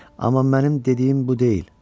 Amma mənim dediyim bu deyil.